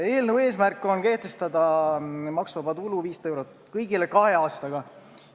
Eelnõu eesmärk on kehtestada maksuvaba tulu määraks kõigile 500 eurot ja teha seda kahe aastaga.